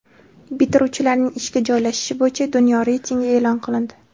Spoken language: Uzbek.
Bitiruvchilarning ishga joylashishi bo‘yicha dunyo reytingi e’lon qilindi.